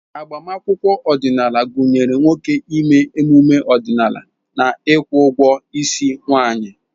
Agbamakwụkwọ ọdịnala gụnyere nwoke ime emume ọdịnala na ịkwụ ụgwọ isi nwanyị.